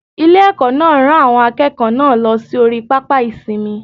Ilé- èkó náà rán àwọn akéèkòó náà lọ sí orí pápá ìsinmi